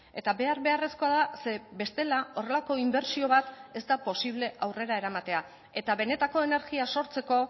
eta behar beharrezkoa da ze bestela horrelako inbertsio bat ez da posible aurrera eramatea eta benetako energia sortzeko